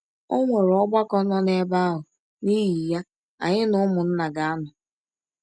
Ọnwere Ọgbakọ nọ n’ebe ahụ, n’ihi ya anyị na ụmụnna ga - anọ.